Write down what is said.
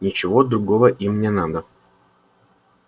ничего другого им не надо